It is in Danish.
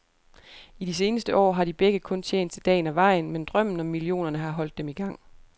I de seneste år har de begge kun tjent til dagen og vejen, men drømmen om millionerne har holdt dem igang.